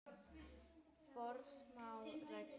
Forsmáð regla.